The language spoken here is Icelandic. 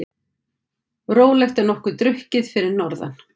Rólegt en nokkuð drukkið fyrir norðan